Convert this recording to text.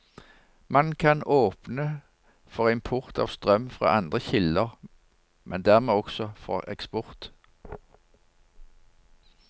Man kan åpne for import av strøm fra andre kilder, men dermed også for eksport.